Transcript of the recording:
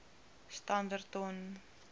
standerton